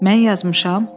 Mən yazmışam?